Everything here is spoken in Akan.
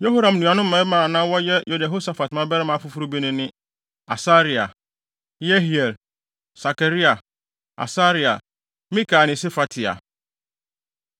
Yehoram nuanom mmarima a na wɔyɛ Yehosafat mmabarima afoforo bi no ne Asaria, Yehiel, Sakaria, Asaria, Mikael ne Sefatia.